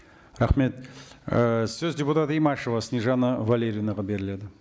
рахмет ы сөз депутат имашева снежанна валерьевнаға беріледі